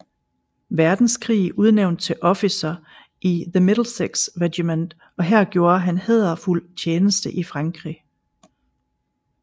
Verdenskrig udnævnt til officer i The Middlesex Regiment og her gjorde han hæderfuld tjeneste i Frankrig